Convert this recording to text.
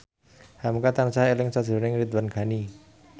hamka tansah eling sakjroning Ridwan Ghani